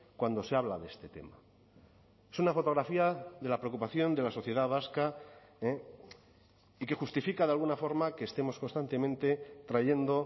cuando se habla de este tema es una fotografía de la preocupación de la sociedad vasca y que justifica de alguna forma que estemos constantemente trayendo